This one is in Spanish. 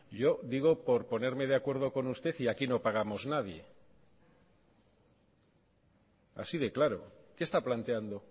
yo digo por ponerme de acuerdo con usted y aquí no pagamos nadie así de claro que está planteando